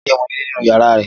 Olá rí ọmọnilé ni nínú yàrá